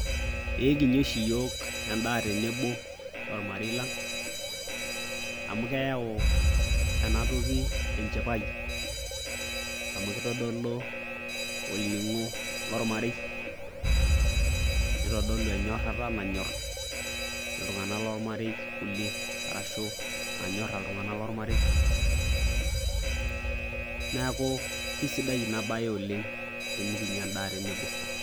Eee kinya oshi iyiok endaa tenebo ormarei lang' amu keyau ena toki enchipai amu kitodolu olning'o lormarei, nitodolu enyorara nanyor iltung'anak lormarei kulie arashu nanyora iltung'anak lormarei. Neeku kesidai ina baye oleng' tenikinya endaa tenebo.